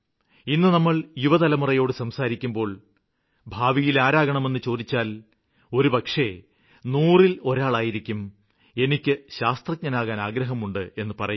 ഇന്ന് നമ്മള് യുവതലമുറയോട് സംസാരിക്കുമ്പോള് ഭാവിയില് ആരാകണമെന്ന് ചോദിച്ചാല് ഒരുപക്ഷേ നൂറില് ഒരാളായിരിക്കും എനിക്ക് ശാസ്ത്രജ്ഞനാകാന് ആഗ്രഹമുണ്ടെന്നു പറയുക